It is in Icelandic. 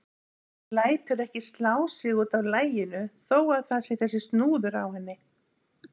Lætur ekki slá sig út af laginu þó að það sé þessi snúður á henni.